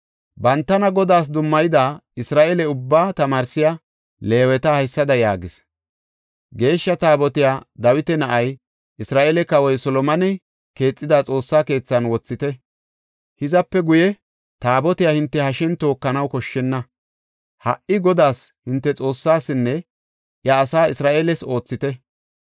Bantana Godaas dummayida, Isra7eele ubbaa tamaarsiya Leeweta haysada yaagis; “Geeshsha Taabotiya Dawita na7ay, Isra7eele kawoy Solomoney keexida Xoossa keethan wothite. Hizape guye Taabotiya hinte hashen tookanaw koshshenna. Ha77i Godaas, hinte Xoossaasinne, iya asaa Isra7eeles oothite.